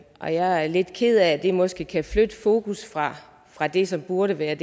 og jeg er lidt ked af at det måske kan flytte fokus fra fra det som burde være i